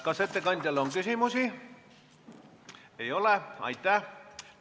Kas ettekandjale on küsimusi?